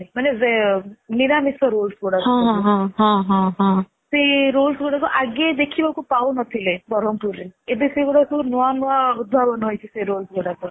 ମାନେ ନିରାମିଷ rolls ଗୁଡା ସେ rolls ଗୁଡା ଆଗେ ଦେଖିବାକୁ ପାଉନଥିଲେ ବରମପୁର ରେ ଏବେ ସେଗୁଡା ନୂଆ ନୂଆ ଉଦ୍ଧାବନ ହେଇଛି rolls ଗୁଡାକ